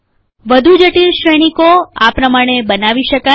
વધું જટિલ શ્રેનીકોઆ પ્રમાણે બનાવી શકાય